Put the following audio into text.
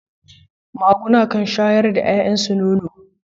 Maguna sukan shayar da yayansu nono.